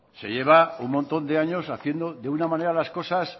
se llevaun montón de años haciendo de una manera las cosas